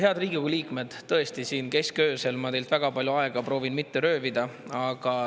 Head Riigikogu liikmed, ma proovin siin keskööl teilt mitte väga palju aega röövida.